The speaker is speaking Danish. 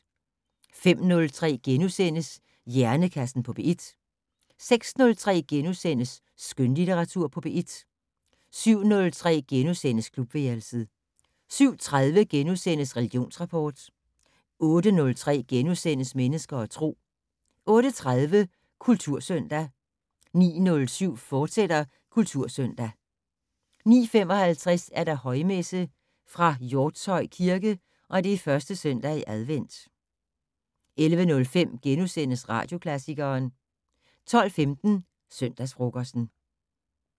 05:03: Hjernekassen på P1 * 06:03: Skønlitteratur på P1 * 07:03: Klubværelset * 07:30: Religionsrapport * 08:03: Mennesker og Tro * 08:30: Kultursøndag 09:07: Kultursøndag, fortsat 09:55: Højmesse - fra Hjortshøj Kirke. 1. søndag i advent. 11:05: Radioklassikeren * 12:15: Søndagsfrokosten